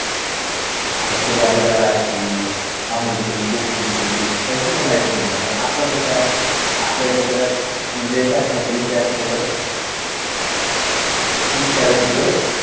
आनी ते vanilla ice cream Amul ची, गोकुल ची यांची पण आईसक्रीम आहे पण आपलं कसं आहे आपल्याइथेे जरा एका Familypack मुळे तीस चाळीस रुपए